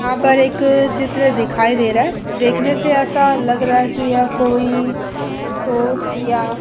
यहां पर एक चित्र दिखाई दे रहा है। देखने से ऐसा लग रहा है कि यह कोई स्टोर या --